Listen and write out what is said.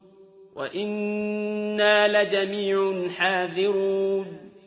وَإِنَّا لَجَمِيعٌ حَاذِرُونَ